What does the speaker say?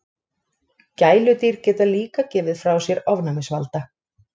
Gæludýr geta líka gefið frá sér ofnæmisvalda.